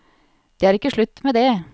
Det er ikke slutt med det.